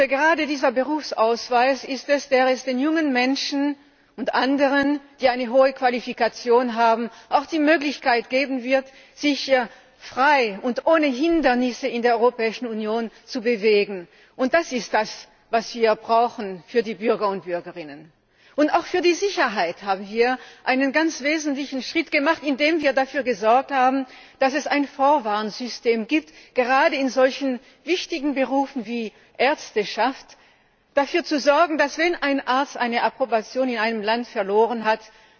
Gerade dieser Berufsausweis ist es, der den jungen Menschen und anderen, die eine hohe Qualifikation haben, auch die Möglichkeit geben wird, sich frei und ohne Hindernisse in der Europäischen Union zu bewegen. Das ist das, was wir brauchen für die Bürger und Bürgerinnen. Auch für die Sicherheit haben wir einen ganz wesentlichen Schritt gemacht, indem wir dafür gesorgt haben, dass es ein Vorwarnsystem gibt, das gerade in solch wichtigen Berufen wie bei den Ärzten dafür sorgt, dass wenn ein Arzt seine Approbation in einem Land verloren